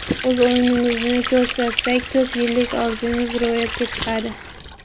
O‘z o‘yinimizni ko‘rsatsak, ko‘p yillik orzumiz ro‘yobga chiqadi.